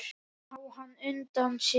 Sá hann útundan sér.